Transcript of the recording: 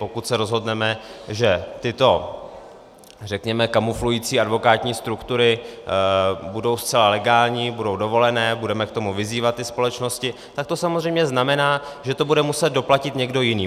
Pokud se rozhodneme, že tyto, řekněme, kamuflující advokátní struktury budou zcela legální, budou dovolené, budeme k tomu vyzývat ty společnosti, tak to samozřejmě znamená, že to bude muset doplatit někdo jiný.